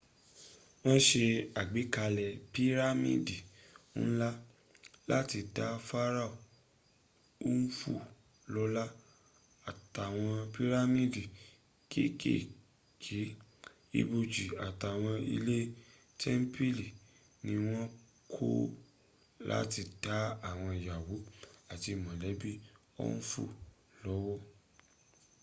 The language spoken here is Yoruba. wọ́n se àgbékalẹ̀ pírámìdì ńlá láti dá pharaoh khufu lọ́lá àtàwọn pírámìdì kékéèké ibòjì àtàwọn ilé tẹ́ḿpìlì ni wọ́n kọ́ láti dá àwọn ìyàwó àti mọ̀lẹ́bí khufu lọ́wọ́